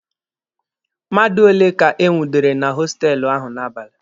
Mmadụ ole ka e nwudere na hostelụ ahụ n'abalị?